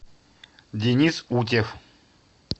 денис утев